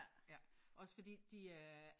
Ja